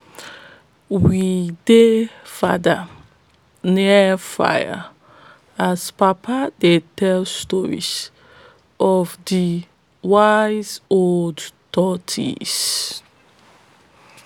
we dey father near fire as papa dey tell stories of de wise old tortoise